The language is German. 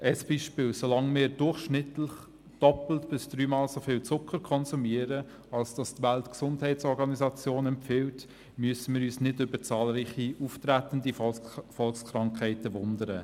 Ein Beispiel: So lange wir durchschnittlich doppelt bis dreimal so viel Zucker konsumieren wie von der Weltgesundheitsorganisation (WHO) empfohlen, müssen wir uns nicht über zahlreich auftretende Volkskrankheiten wundern.